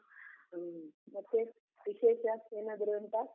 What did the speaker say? ಹ್ಮ್, ಮತ್ತೆ ವಿಶೇಷ ಏನಾದ್ರು ಉಂಟಾ?